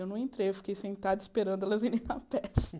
Eu não entrei, eu fiquei sentada esperando elas irem na peça.